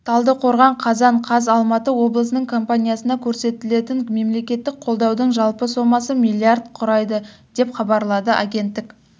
талдықорған қазан қаз алматы облысының компаниясына көрсетілетін мемлекеттік қолдаудың жалпы сомасы миллиард құрайды деп хабарлады агенттік